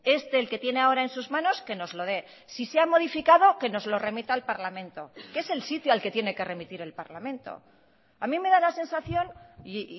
este el que tiene ahora en sus manos que nos lo dé si se ha modificado que nos lo remita al parlamento que es el sitio al que tiene que remitir el parlamento a mí me da la sensación y